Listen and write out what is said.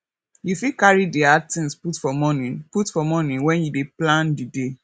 yoy fit carry di hard things put for morning put for morning when you dey plan di day